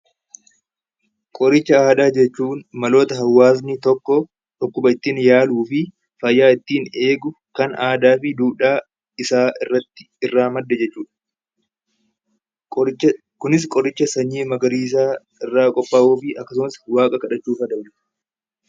Qoricha aadaa jechuun maloota hawaasni tokko dhukkuba ittiin yaaluu fi fayyaa ittiin eegu kan aadaa fi duudhaa isaa irratti irraa madde jechuudha. Qoricha kunis qoricha sanyii magariisaa irraa qophaa'uu fi akkasumas waaqa kadhachuufaa ta'uu danda'a.